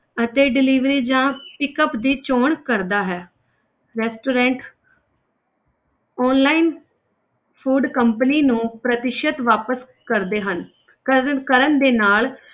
ਅਤੇ delivery ਜਾਂ pickup ਦੀ ਚੌਣ ਕਰਦਾ ਹੈ restaurant online food company ਨੂੰ ਪ੍ਰਤੀਸ਼ਤ ਵਾਪਸ ਕਰਦੇ ਹਨ ਕਰਨ ਕਰਨ ਦੇ ਨਾਲ,